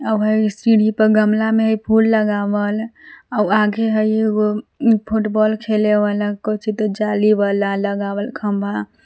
सीढ़ी पर गमला में फुल लगावल अउ आगे हई एगो फुटबॉल खेले वाला कउचि त जाली वाला लगावल खंभा--